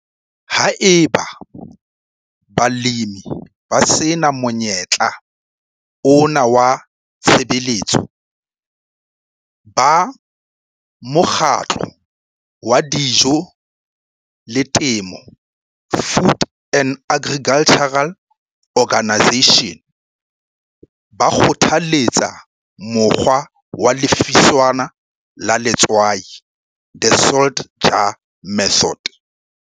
Haeba balemi ba se na monyetla ona wa tshebeletso, Ba Mokgatlo wa Dijo le Temo Food and Agricultural Organisation ba kgothaletsa Mokgwa wa Lefiswana la Letswai The Salt Jar Method.